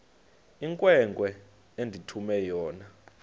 inkwenkwe endithume yona